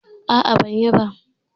A'a bai yi ba